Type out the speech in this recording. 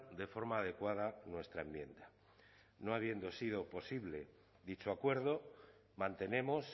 de forma adecuada nuestra enmienda no habiendo sido posible dicho acuerdo mantenemos